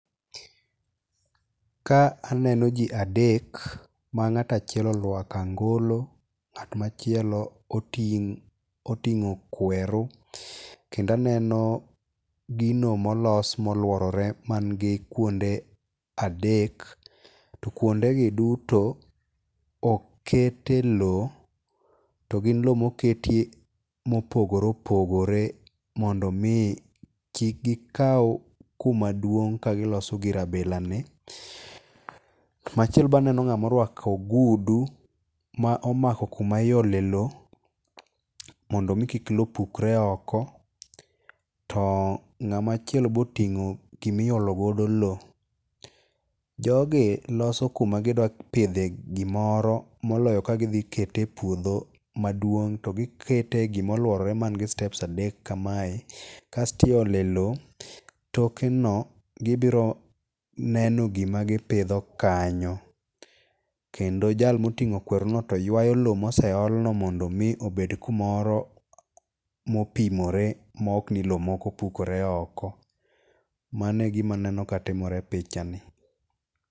Ka aneno ji adek, ma ng'ato achiel orwako angolo, ng'at machielo oting'o kweru, kendo aneno gino molos moluorore man gi kuonde adek. To kuonde gi duto oket e loo, to gin loo moketie mopogore opogore mondo mi kik gikaw kuma duong' ka giloso gir abila ni. Machielo be aneno ng'ama orwako ogudu, ma omako kuma iole loo, mondo mi kik loo pukre oko. To ng'ama chielo be oting'o gima iolo godo loo. Jogi loso kuma gidwa pidhe gimoro, moloyo ka gidhi kete e puodho maduong' to gikete e gima oluorore man gi steps adek kamae. Kasto iole loo, toke no gibiro neno gima gipidho kanyo. Kendo jal moting'o kwer no to yuayo loo moseol no mondo mi obed kumoro mopimore ma ok ni loo moko pukore oko. Mano e gima aneno katimore e picha ni.